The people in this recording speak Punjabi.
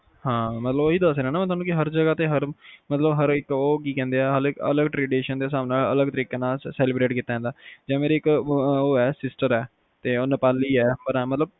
ਹਾ ਮਤਲਬ ਓਹੀ ਦਾਸ ਰਿਹਾ ਆ ਨਾ ਕੇ ਹਰ ਜਗ੍ਹਾ ਤੇ, ਹਰ ਇਕ ਉਹ ਕੀ ਕਹਿੰਦੇ ਆ ਹਰ ਅਲੱਗ tradition ਦੇ ਸਾਬ ਨਾਲ ਅਲੱਗ ਤਰੀਕੇ ਨਾਲ celebrate ਕੀਤਾ ਜਾਂਦਾ ਯਾ ਮੇਰੀ ਇੱਕ ਉਹ ਆ sister ਆ ਉਹ ਨੇਪਾਲੀ ਆ